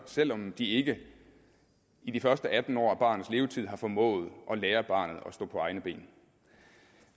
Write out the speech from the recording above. selv om de ikke i de første atten år af barnets levetid har formået at lære barnet at stå på egne ben